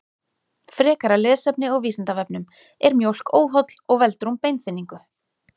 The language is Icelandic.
Frekara lesefni á Vísindavefnum: Er mjólk óholl og veldur hún beinþynningu?